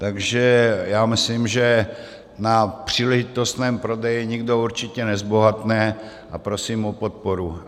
Takže já myslím, že na příležitostném prodeji nikdo určitě nezbohatne, a prosím o podporu.